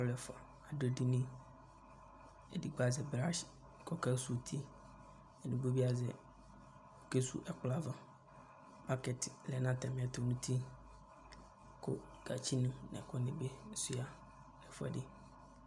Alʋ ɛfʋa adʋ edini Edigbo azɛ brats kʋ akesuwu uti Edigbo bɩ azɛ kesuwu ɛkplɔ ava Baskɛt lɛ nʋ atamɩɛtʋ nʋ uti kʋ gatsinɩ nʋ ɛkʋnɩ bɩ sʋɩa nʋ ɛfʋɛdɩ